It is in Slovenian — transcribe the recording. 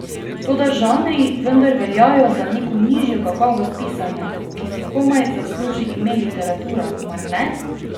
Toda žanri vendar veljajo za neko nižjo kakovost pisanja, ki si komaj zasluži ime literatura, mar ne?